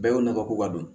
Bɛɛ y'o nafa ko don